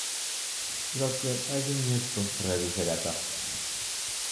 Ikokyet ak kimnyet ko rapishek ata?